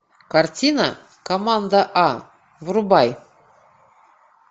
картина команда а врубай